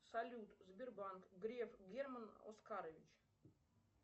салют сбербанк греф герман оскарович